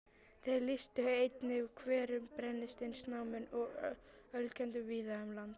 Þeir lýstu einnig hverum, brennisteinsnámum og ölkeldum víða um land.